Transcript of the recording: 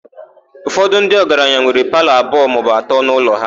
Ụfọdụ ndị ọgaranya nwere palọ abụọ maọbụ atọ n'ụlọ ha.